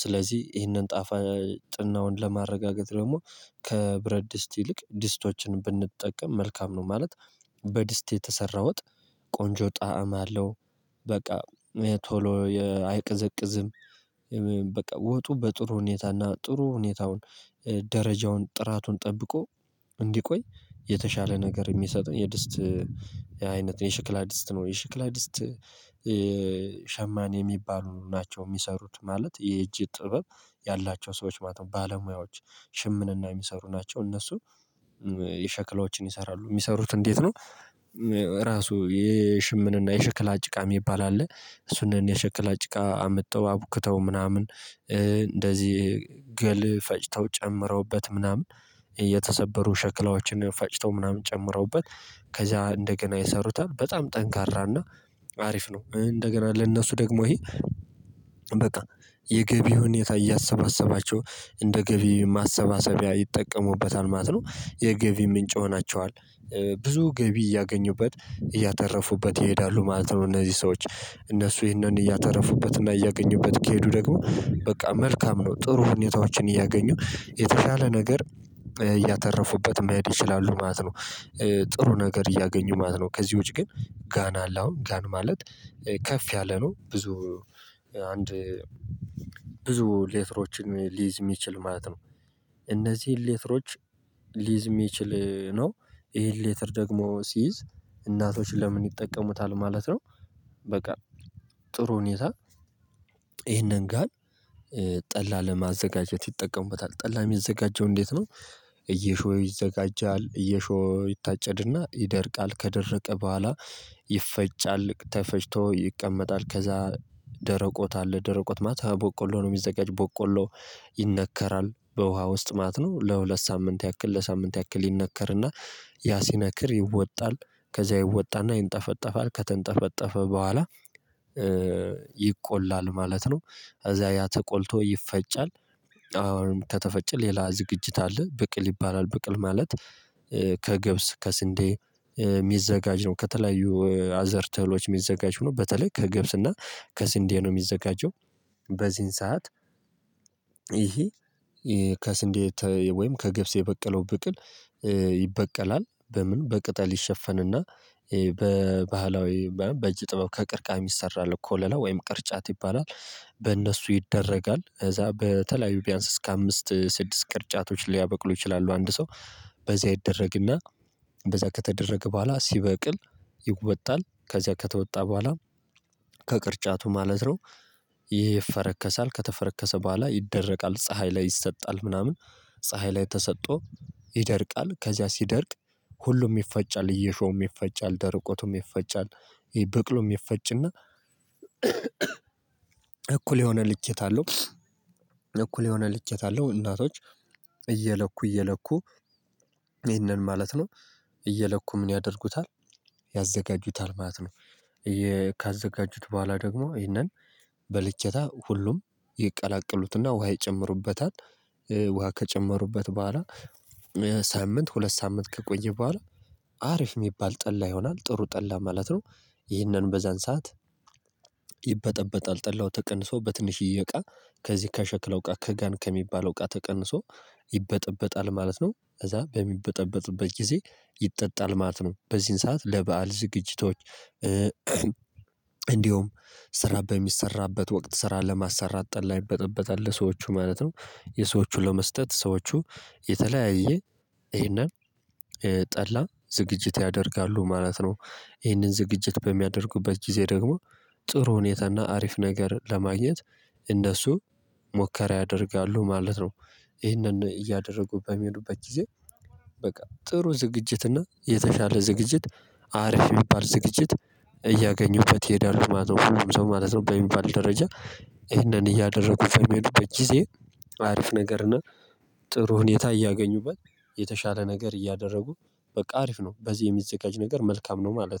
ስለዚህ ይህንን ጥፋጥናውን ለማረጋገጥ ደግሞ ከብረት ድስት ይልቅ ድስቶችን ብንጠቀም መልካም ነው። ማለት በድስት የተሰራ ወጥ ቆንጆ ጣዕም አለው። በቃ ቶሎ አይቀዘቅዝም። በቃ ወጡ በጥሩ ሁኔታና ጥሩ ሁኔታውን ደረጃውን ጥራቱን ጠብቆ እንዲቆይ የተሻለ ነገር የሚሰጠን የድስት አይነት የሽክላ ድስት ነው። የሽክላ ድስት ሸማኔ የሚባሉ ናቸው የሚሰሩት ማለት የእጅ ጥበብ ያላቸው ሰዎች ማለት ነው። ባለሙያዎች ሽምንና የሚሰሩ ናቸው። እነሱ የሽክላዎችን ይሰራሉ የሚሰሩት እንዴት ነው? ራሱ የሽምንና የሽክላጭቃ የሚባል አለ። እሱንም የሽክላጭቃ አመጣው አቡክተው ምናምን ገል ፈጭተው ጨምረውበት ምናምን የተሰበሩ ሸክላዎችን ፈጭተው ምናምን ጨምረውበት ከዛ እንደገና የሰሩት በጣም ጠንካራና አሪፍ ነው። እንደገና ለእነሱ ደግሞ ይሄ በቃ የገቢ ሁኔታ እያሰባሰባቸው እንደ ገቢ ማሰባሰቢያ ይጠቀሙበታል ማለት ነው። የገቢ ምንጭ ሆናቸዋል። ብዙ ገቢ እያገኙበት እያተረፉበት ይሄዳሉ ማለት ነው። እነዚህ ሰዎች እነሱ ይህንን እያተረፉበትና እያገኙበት ከሄዱ ደግሞ በቃ መልካም ነው። ጥሩ ሁኔታዎችን እያገኙ የተሻለ ነገር እያተረፉበት መሄድ ይችላሉ ማለት ነው። ጥሩ ነገር እያገኙ ማለት ነው። ከዚህ ውጪ ግን ጋን አለ አሁን ጋን ማለት ከፍ ያለ ነው። ብዙ አንድ ብዙ ሌትሮችን ሊይዝ የሚችል ማለት ነው። እነዚህን ሌትሮች ሊይዝ የሚችል ነው። ይሄን ሌትር ደግሞ ሲይዝ እናቶች ለምን ይጠቀሙታል ማለት ነው። በቃ ጥሩ ሁኔታ ይሄንን ጋር ጠላ ለማዘጋጀት ይጠቀሙበታል ጠላ የሚዘጋጀው እንዴት ነው? እየሾህ ይዘጋጃል እየሾህ ይታጨድና ይደርቃል ከደረቀ በኋላ ይፈጫል ተፈጭቶ ይቀመጣል ከዛ ደረቆት አለ ደረቆት ማት ቦቆሎ ነው። የሚዘጋጅ ቦቆሎ ይነከራል በውሃ ውስጥ ማለት ነው። ለሁለት ሳምንት ያክል ለሳምንት ያክል ይነከርና ያ ሲነክር ይወጣል ከዛ ይወጣና ይንጠፈጠፋል ከተንጠፈጠፈ በኋላ ይቆላል ማለት ነው። እዚያ ያ ተቆልቶ ይፈጫል። አሁን ከተፈጨ ሌላ ዝግጅት አለ ብቅል ይባላል ብቅል ማለት ከገብስ ከስንዴ የሚዘጋጅ ነው። ከተለያዩ አዘርተሎች የሚዘጋጅ ሆኖ በተለይ ከገብስ እና ከስንዴ ነው የሚዘጋጀው። በዚህን ሰዓት ይሄ ከስንዴ ወይም ከግብጽ የበቀለው ብቅል ይበቀላል በምን በቅጠል ይሸፈንና በባህላዊ በእጅ ጥበብ ከቅርቃሚ ይሰራል እኮ ለለ ወይም ቅርጫት ይባላል። በእነሱ ይደረጋል ከዛ በተለያዩ ቢያንስ እስከ አምስት ስድስት ቅርጫቶች ሊያበቅሉ ይችላሉ። አንድ ሰው በዚህ አይደረግና በዛ ከተደረገ በኋላ ሲበቅል ይወጣል ከዚያ ከተወጣ በኋላ ከቅርጫቱ ማለት ነው። ይሄ ይፈረከሳል ከተፈረከሰ በኋላ ይደረቃል ፀሀይ ላይ ይሰጣል ምናምን ፀሀይ ላይ ተሰጦ ተሰጥቶ ይደርቃል። ከዚያ ሲደርቅ ሁሉም ይፈጫል እየሾም ይፈጫል ደርቆቱም ይፈጫል። ይሄ በቅሎም ይፈጭና እኩል የሆነ ልጅት አለው እኩል የሆነ ልቅየት አለው እናቶች እየለኩ እየለኩ ይሄንን ማለት ነው። እየለኩ ምን ያደርጉታል ያዘጋጁታል ማለት ነው። ካዘጋጁት በኋላ ደግሞ ይሄንን በልኬታ ሁሉም ይቀላቀሉትና ውሃ ይጨምሩበታል። ውሃ ከጨመሩበት በኋላ ሳምንት ሁለት ሳምንት ከቆየ በኋላ አሪፍ የሚባል ጠላ ይሆናል ጥሩ ጠላ ማለት ነው። ይህንን በዛን ሰዓት ይበጠበጣል ጠላው ተቀንሶ በትንሽዬ እቃ ከዚህ ከሸክለው እቃ ከጋን ከሚባለው ቃ ተቀንሶ ይበጠበጣል ማለት ነው። እዛ በሚበጠበጥበት ጊዜ ይጠጣል ማለት ነው። በዚህን ሰዓት ለበአል ዝግጅቶች እንዲሁም ስራ በሚሰራበት ወቅት ስራ ለማሰራት ጠላ ይበጠበጣል ለሰዎቹ ማለት ነው። የሰዎቹ ለመስጠት ሰዎቹ የተለያየ ይሄንን ጠላ ዝግጅት ያደርጋሉ ማለት ነው። ይሄንን ዝግጅት በሚያደርጉበት ጊዜ ደግሞ ጥሩ ሁኔታና አሪፍ ነገር ለማግኘት እንደሱ ሞከረ ያደርጋሉ ማለት ነው። ይህንን እያደረጉ በሚሆኑበት ጊዜ በቃ ጥሩ ዝግጅት እና የተሻለ ዝግጅት አርፍ የሚባል ዝግጅት እያገኙበት ይሄዳሉ ማለት ነው። ሰው ማለት ነው በሚባል ደረጃ ይህንን እያደረጉ በሚሄዱበት ጊዜ አሪፍ ነገር እና ጥሩህን የታየ አገኙበት። የተሻለ ነገር እያደረጉ በቃ አሪፍ ነው። በዚህ የሚዘጋጅ ነገር መልካም ነው ማለት ነው